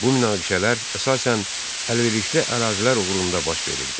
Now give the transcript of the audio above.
Bu münaqişələr əsasən əlverişli ərazilər uğrunda baş verirdi.